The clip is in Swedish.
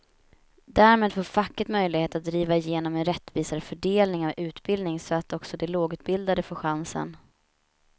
Därmed får facket möjlighet att driva igenom en rättvisare fördelning av utbildningen så att också de lågutbildade får chansen.